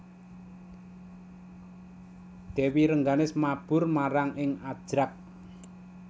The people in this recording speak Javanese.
Dèwi Rengganis mabur marang ing Ajrak